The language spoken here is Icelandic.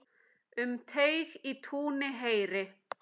Um teig í túni heyri.